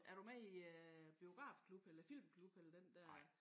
Er du med i øh biografklub eller filmklub eller den dér?